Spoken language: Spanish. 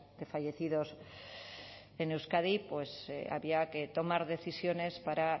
de fallecidos en euskadi había que tomar decisiones para